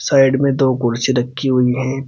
Side में दो कुर्सी रखी हुई है।